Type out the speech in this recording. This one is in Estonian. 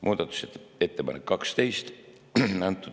Muudatusettepanek nr 12.